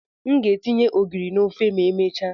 M ga etinye ogiri n'ofe ma emechaa.